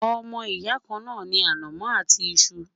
ọmọ ìyà kàn ní anamó àti iṣu